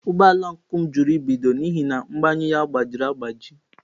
Ụgbọ ala ọncụl m jụrụ ibido n'ihi na mgbanyụ agbajiri agbaji.